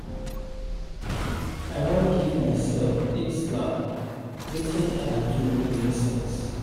I wan give myself big slap wetin I do no make sense